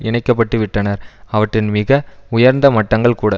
இணைக்கப்பட்டுவிட்டனர் அவற்றின் மிக உயர்ந்த மட்டங்கள் கூட